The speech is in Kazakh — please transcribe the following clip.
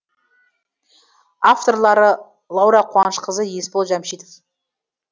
авторлары лаура қуанышқызы есбол жәмшитов